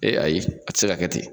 Ee ayi a te se ka kɛ ten.